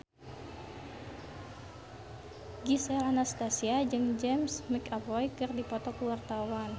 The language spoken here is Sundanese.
Gisel Anastasia jeung James McAvoy keur dipoto ku wartawan